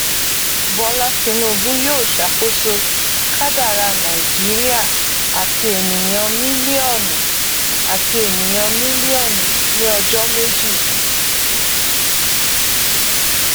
bọlá tinubu yóò ṣàkóso kádàrá nàìjíríà àti ènìyàn mílíọnù àti ènìyàn mílíọnù ní ọjọ méjì